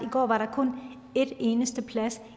går var der kun en eneste plads